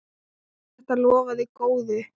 Þetta lofaði góðu!